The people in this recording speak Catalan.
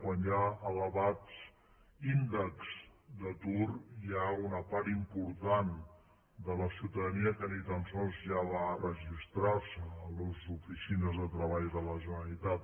quan hi ha elevats índexs d’atur hi ha una part important de la ciutadania que ni tan sols ja va a registrar se a les oficines de treball de la generalitat